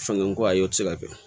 Fanga ko a ye o tɛ se ka kɛ